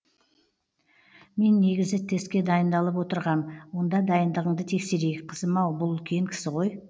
мен негізі тестке дайындалып отырғам онда дайындығыңды тексерейік қызым ау бұл үлкен кісі ғой